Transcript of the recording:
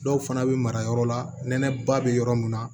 Dɔw fana bɛ mara yɔrɔ la nɛnɛ ba bɛ yɔrɔ mun na